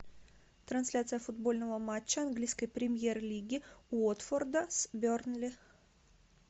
трансляция футбольного матча английской премьер лиги уотфорда с бернли